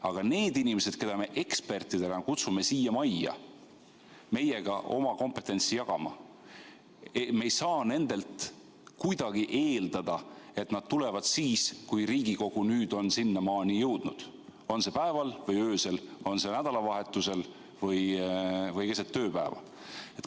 Aga nendelt inimestelt, keda me ekspertidena kutsume siia majja meiega oma kompetentsi jagama, me ei saa kuidagi eeldada, et nad tulevad siis, kui Riigikogu nüüd on sinnamaani jõudnud – on see päeval või öösel, on see nädalavahetusel või keset tööpäeva.